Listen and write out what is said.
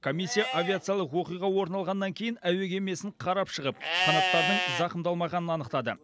комиссия авиациялық оқиға орын алғаннан кейін әуе кемесін қарап шығып қанаттарының зақымдалмағанын анықтады